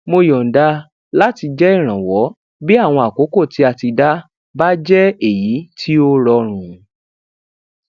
mo yọnda láti jẹ ìrànwó bí àwọn àkókò tí a ti dá bá jẹ èyí tí ó rọrùn